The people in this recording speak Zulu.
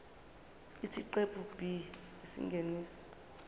isiqephu b isingeniso